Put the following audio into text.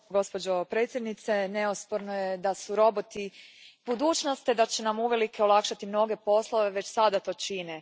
Gospođo predsjednice, neosporno je da su roboti budućnost te da će nam uvelike olakšati mnoge poslove, već sada to čine.